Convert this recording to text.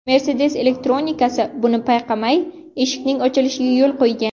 Mercedes elektronikasi buni payqamay, eshikning ochilishiga yo‘l qo‘ygan.